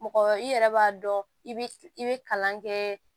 Mɔgɔ i yɛrɛ b'a dɔn i bi i bɛ kalan kɛ